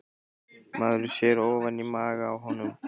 Maður sér ofan í maga á honum